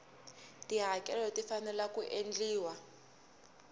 tihakelo ti fanele ku endliwa